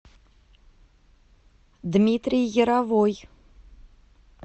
дмитрий яровой